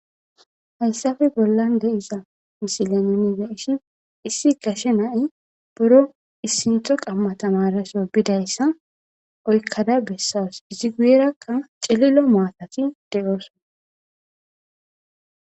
hayssafe bollan deiza misilamenede ishi issi gashe nay boro issintho qamma tamareso bidayssa oykkada bessas izi guyerakka celilo maatati de7oosona